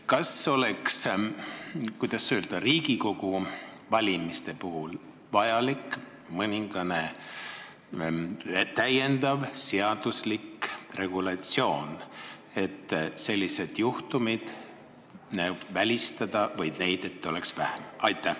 Kas oleks Riigikogu valimiste puhul vaja mingit täiendavat õiguslikku regulatsiooni, et sellised juhtumid välistada või vähemalt, et neid oleks vähem?